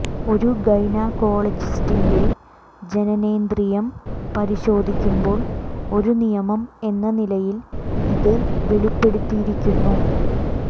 ഒരു ഗൈനക്കോളജിസ്റ്റിന്റെ ജനനേന്ദ്രിയം പരിശോധിക്കുമ്പോൾ ഒരു നിയമം എന്ന നിലയിൽ ഇത് വെളിപ്പെടുത്തിയിരിക്കുന്നു